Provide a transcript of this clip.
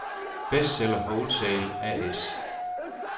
Bestseller Wholesale A/S